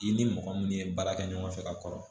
I ni mɔgɔ minnu ye baara kɛ ɲɔgɔn fɛ ka kɔrɔ